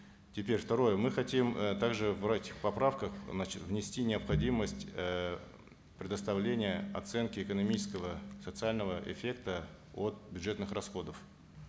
теперь второе мы хотим э также брать в поправках значит внести необходимость э предоставления оценки экономического социального эффекта от бюджетных расходов